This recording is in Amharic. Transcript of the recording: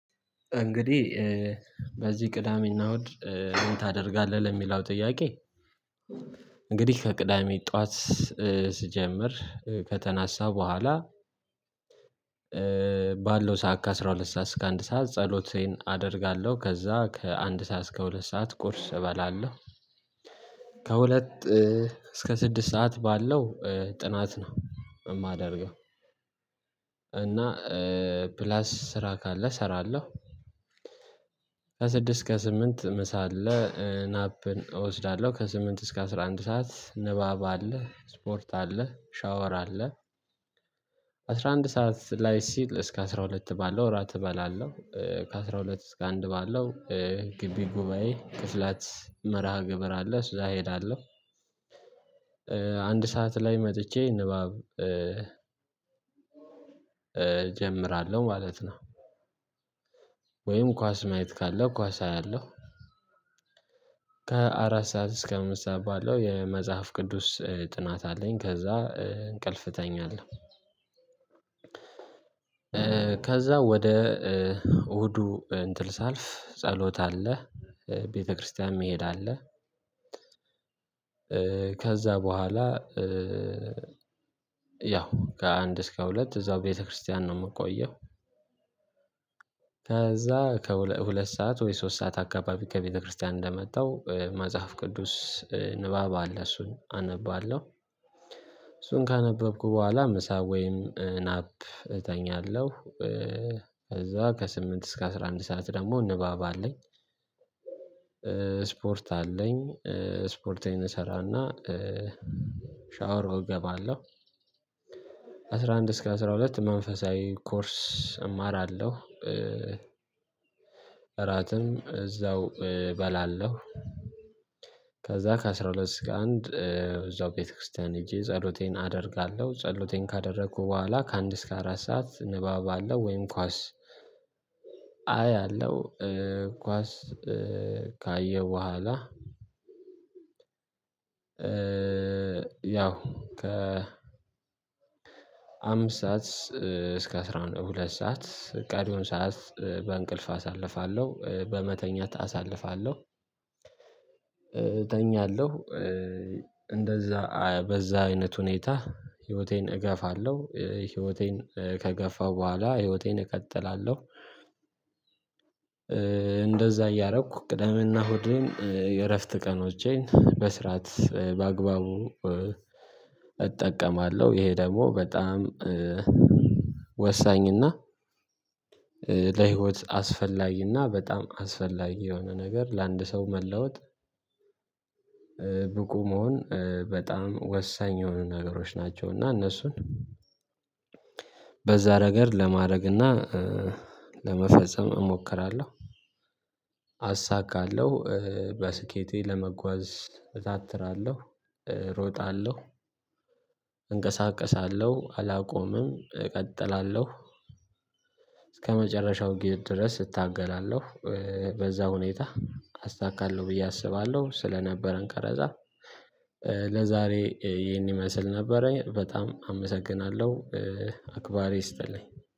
እንግዲህ በዚህ ቅዳሜና እሁድ ምን ታደርጋለህ ለሚለው ጥያቄ? እንግዲህ ከቅዳሜ ጠዋት ስጀምር ከተነሳሁ በኋላ ባለው ሰዓት ከአሥራ ሁለት ሰዓት እስከ አንድ ሰዓት ጸሎቴን አደርጋለሁ ከዛ ከአንድ ሰዓት እስከ ሁለት ሰዓት ቁርስ እበላለሁ ከሁለት እስከ ስድስት ሰዓት ባለው ጥናት ነው የማደርገው። እና ፕላስ ስራ ካለ እሰራለሁ። ከስድስት እስከ ስምንት ምሳ አለ ናፕን እወስዳለሁ ከስምንት እስከ አስራ አንድ ሰዓት ንባብ አለ ስፖርት አለ ሻወር አለ። አስራ አንድ ሰዓት ላይ ሲል እስከ አስራ ሁለት ባለው እራት እበላለሁ ከአስራ ሁለት እስከ አንድ ባለው ግቢ ጉባኤ ቅስላት መርሃ ግብር አለ እዛ እሄዳለሁ አንድ ሰዓት ላይ መጥቼ ንባብ እጀምራለሁ ማለት ነው። ወይም ኳስ ማየት ካለ ኳስ አያለሁ። ከአራት ሰዓት እስከ አምስት ሰዓት ባለው የመጽሐፍ ቅዱስ ጥናት አለኝ። ከዛ እንቅልፍ እተኛለሁ። ከዛ ወደ እሁዱ እንትን ሳልፍ ጸሎት አለ ቤተክርስቲያንም መሄድ አለ። ከዛ በኋላ ያው ከአንድ እስከ ሁለት እዛው ቤተክርስቲያን ነው የምቆየው። ከዛ ከሁለት ሰዓት ወይ ሶስት ሰዓት አካባቢ ከቤተክርስቲያን እንደመጣሁ መጽሐፍ ቅዱስ ንባብ አለ እሱን አነባለሁ። እሱን ካነበብኩ በኋላ ምሳ ወይም ናፕ እተኛለሁ። ከዛ ከስምንት እስከ አስራ አንድ ሰዓት ደግሞ ንባብ አለኝ። ስፖርት አለኝ ስፖርቴን እሰራና ሻወር እገባለሁ። ከአስራ አንድ እስከ አስራ ሁለት መንፈሳዊ ኮርስ እማራለሁ። እራትም እዛው እበላለሁ። ከዛ ከአሥራ ሁለት ከአንድ እዛው ቤተክርስቲያን ሄጄ ጸሎቴን አደርጋለሁ ጸሎቴን ካደረኩ በኋላ ከአንድ እስከ አራት ሰዓት ንባብ አለ ወይም ኳስ አያለው። ኳስ ካየው በኋላ ያው ከ አምስት ሰዓት እስከ አስራ ሁለት ሰዓት ቀሪዉን ሰዓት በእንቅልፍ አሳልፋለሁ በመተኛት አሳልፋለሁ። እተኛለሁ እንደዛ በዛ አይነት ሁኔታ ህይወቴን እገፋለሁ ህይወቴን ከገፋሁ በኋላ ህይወቴን እቀጥላለሁ። እንደዛ እያደረኩ ቅደሜና እሁድን የእረፍት ቀኖቼን በስርዓት በአግባቡ እጠቀማለሁ። ይሄ ደግሞ በጣም ወሳኝ እና ለህይወት አስፈላጊ እና በጣም አስፈላጊ የሆነ ነገር ለአንድ ሰው መለወጥ ብቁ መሆን በጣም ወሳኝ የሆኑ ነገሮች ናቸው። እና እነሱን በዛ ረገድ ለማድረግ እና ለመፈጸም እሞክራለሁ። አሳካለሁ በስኬቴ ለመጓዝ እታትራለሁ እሮጣለሁ እንቀሳቀሳለሁ አላቆምም እቀጥላለሁ። እስከመጨረሻው ግብ ድረስ እታገላለሁ በዛ ሁኔታ አሳካለሁ ብዬ አስባለሁ። ስለነበረን ቀረጻ ለዛሬ ይህን ይመስል ነበረ በጣም አመሰግናለሁ። አክባሪ ይስጥልኝ